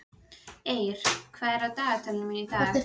Eir, hvað er á dagatalinu mínu í dag?